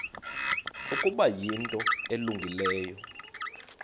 ukuba yinto elungileyo